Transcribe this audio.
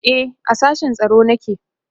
e a sashen tsaro nake